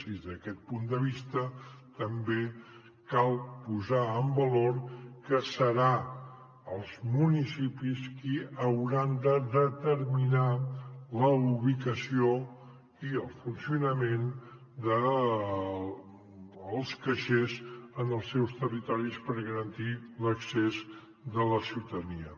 i des d’aquest punt de vista també cal posar en valor que seran els municipis qui hauran de determinar la ubicació i el funcionament dels caixers en els seus territoris per garantir l’accés de la ciutadania